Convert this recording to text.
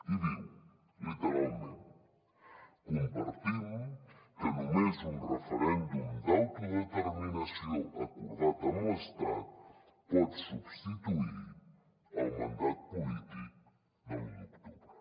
i diu literalment compartim que només un referèndum d’autodeterminació acordat amb l’estat pot substituir el mandat polític de l’u d’octubre